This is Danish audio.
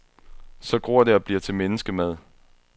Så gror det og bliver til menneskemad.